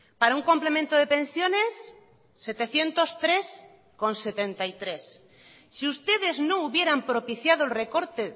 para un complemento de pensiones setecientos tres coma setenta y tres si ustedes no hubieran propiciado el recorte